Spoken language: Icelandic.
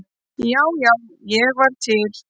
Já, já, ég var til.